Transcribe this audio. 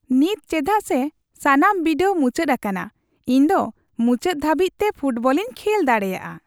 ᱱᱤᱛ ᱪᱮᱫᱟᱜ ᱥᱮ ᱥᱟᱱᱟᱢ ᱵᱤᱰᱟᱹᱣ ᱢᱩᱪᱟᱹᱫ ᱟᱠᱟᱱᱟ ᱤᱧ ᱫᱚ ᱢᱩᱪᱟᱹᱫ ᱫᱷᱟᱹᱵᱤᱡ ᱛᱮ ᱯᱷᱩᱴᱵᱚᱞᱤᱧ ᱠᱷᱮᱞ ᱫᱟᱲᱮᱭᱟᱜᱼᱟ ᱾